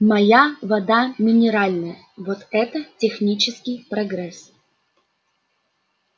моя вода минеральная вот это технический прогресс